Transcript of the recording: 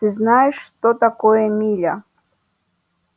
ты знаешь что такое миля